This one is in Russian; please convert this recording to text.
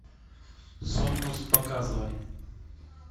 сомнус показывай